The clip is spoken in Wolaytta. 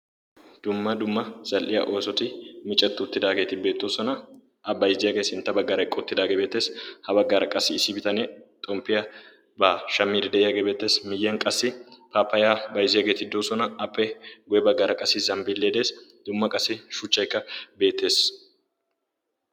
dumma dumma zal77iya oosoti micetti uttidaageeti beettoosona. a baizziyaagee sintta baggaara eqqi uttidaagee beettees. ha baggaara qassi issi bitanee xomppiyaa baa shamiiri de7iyaagee beettees miyyiyan qassi paafayaa baizziyaageeti doosona appe ya baggaara qassi zambbilee dees dumma qassi shuchchaykka beettees.